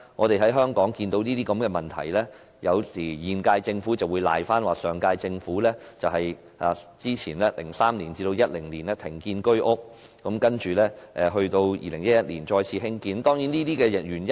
對於這些問題，現屆政府有時候會推說，原因是上屆政府2003年至2010年停建居屋 ，2011 年才恢復興建。